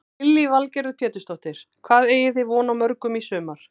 Lillý Valgerður Pétursdóttir: Hvað eigið þið von á mörgum í sumar?